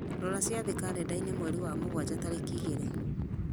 rora ciathĩ karenda-inĩ mweri wa mũgwanja tarĩki igĩrĩ